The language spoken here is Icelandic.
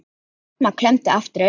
Selma klemmdi aftur augun.